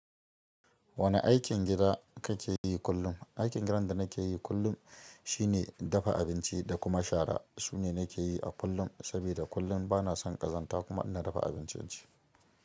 Wane aikin gida kake yi kullum? Aikin gidan da nake yi kullum shine dafa abinci da kuma shara. Su ne nake yi a kullum, saboda kullum bana son ƙazanta kuma ina dafa abincin ce.